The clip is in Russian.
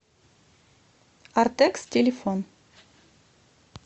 артекс телефон